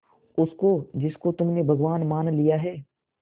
उसको जिसको तुमने भगवान मान लिया है